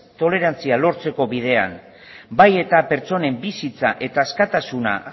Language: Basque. tolerantzia lortzeko bidean bai eta pertsonen bizitza eta askatasuna